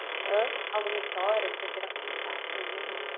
ãh, alguma história que você queira contar para gente?